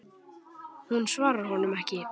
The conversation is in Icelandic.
Hún svarar honum ekki.